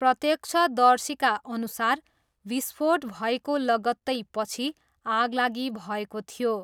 प्रत्यक्षदर्शीका अनुसार विस्फोट भएको लगत्तै पछि आगलागी भएको थियो।